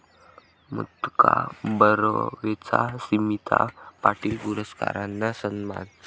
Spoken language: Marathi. मुक्ता बर्वेचा स्मिता पाटील पुरस्कारानं सन्मान